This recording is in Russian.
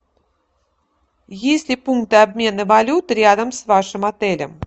есть ли пункты обмена валют рядом с вашим отелем